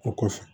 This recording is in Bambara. O kɔfɛ